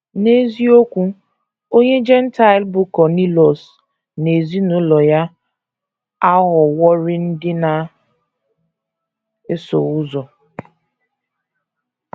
N’eziokwu, onye Jentaịl bụ́ Kọnịliọs na ezinụlọ ya aghọworị ndị na - eso ụzọ.